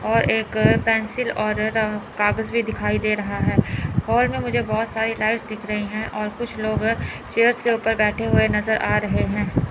और एक पेंसिल और अह कागज भी दिखाई दे रहा है हॉल में मुझे बहुत सारी लाइट्स दिख रही हैं और कुछ लोग चेयर्स के ऊपर बैठे हुए नजर आ रहे हैं।